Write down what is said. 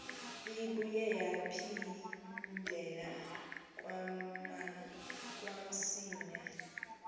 ibuye yaphindela kamsinya